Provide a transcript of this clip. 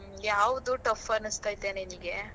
ಹ್ಮ್, ಯಾವದು tough ಅನೀಸ್ಥೈತೆ ನಿನ್ಗೆ?